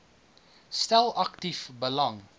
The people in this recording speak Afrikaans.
stel aktief belang